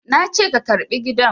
Na ce ka karɓi gidan!